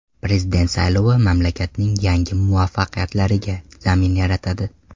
Prezident saylovi mamlakatning yangi muvaffaqiyatlariga zamin yaratadi”.